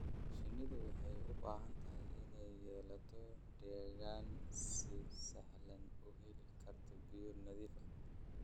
Shinnidu waxay u baahan tahay inay yeelato deegaan si sahlan u heli kara biyo nadiif ah.